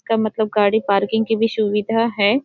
इसका मतलब गाड़ी पार्किंग की भी सुविधा है।